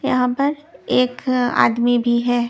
यहां पर एक आदमी भी है.